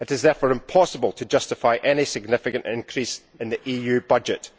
It is therefore impossible to justify any significant increase in the EU budget.